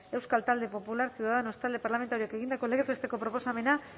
euskal talde popularra ciudadanos talde parlamentarioak egindako legez besteko proposamena